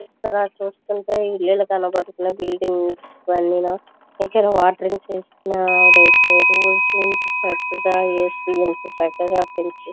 ఇక్కడికి చూస్తునట్టు ఇల్లులు బులిందిగ్ అన్నీ ఇకద వాటేరింగ్ చేస్తున్నారు వాటర్గి చేస్తున్నారు ఇంత చక్కగా వేసి ఎంత చక్కగా పెంచి --.